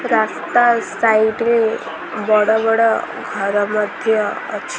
ରାସ୍ତା ସାଇଡ୍ ରେ ବଡ଼ ବଡ଼ ଘର ମଧ୍ଯ ଅଛି।